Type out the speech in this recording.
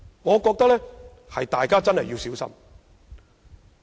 我認為大家真的要小心。